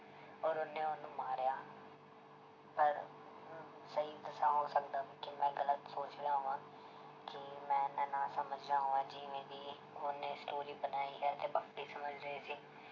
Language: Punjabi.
ਔਰ ਉਹਨੇ ਉਹਨੂੰ ਮਾਰਿਆ ਪਰ ਸਹੀ ਦੱਸਾਂ ਹੋ ਸਕਦਾ ਕਿ ਮੈਂ ਗ਼ਲਤ ਸੋਚ ਕਿ ਮੈਂ ਇੰਨਾ ਨਾ ਸਮਝ ਰਿਹਾ ਹੋਵਾਂ ਜਿਵੇਂ ਦੀ ਉਹਨੇ story ਬਣਾਈ ਸਮਝ ਰਹੇ ਸੀ।